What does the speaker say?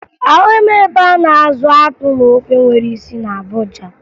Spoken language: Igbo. Ahụghị m ebe a na-azụ akpụ na ofe nwere isi na Abuja